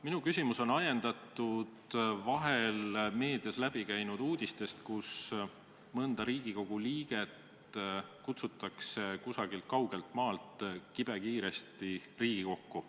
Minu küsimus on ajendatud meedias läbi käinud uudistest, et mõnda Riigikogu liiget on kutsutud kusagilt kaugelt maalt kibekiiresti Riigikokku.